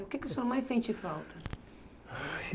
O que o senhor mais sente falta?